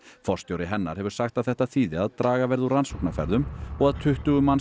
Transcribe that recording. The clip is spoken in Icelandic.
forstjóri hennar hefur sagt að þetta þýði að draga verði úr rannsóknarferðum og að tuttugu manns